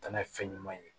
Tana ye fɛn ɲuman ye